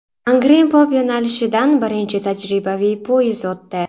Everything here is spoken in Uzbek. Angren-Pop yo‘nalishidan birinchi tajribaviy poyezd o‘tdi.